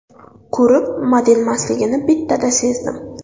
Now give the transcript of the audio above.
Ko‘rib, modelmasligini bittada sezdim.